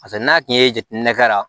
Paseke n'a tun ye jateminɛ kɛ la